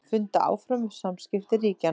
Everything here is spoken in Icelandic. Funda áfram um samskipti ríkjanna